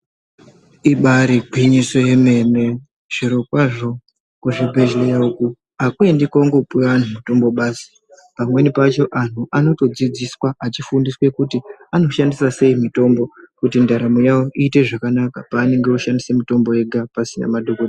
Ibari gwinyisi yemene zviro kwazvo kuzvibhedhlera uko hakuendi kongopuva vantu mutombo basi. Pamweni pacho antu anotodzidziswa achifundiswa kuti anoshandisa sei mitombo kuti ndaramo yavo iite zvakanaka, paanonga oshandisa mitombo ega pasina madhogodheya.